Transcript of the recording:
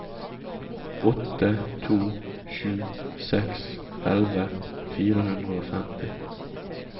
åtte to sju seks elleve fire hundre og femti